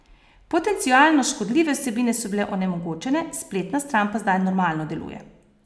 Potencialno škodljive vsebine so bile onemogočene, spletna stran pa zdaj normalno deluje.